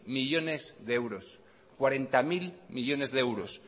millónes de euros cuarenta mil millónes de euros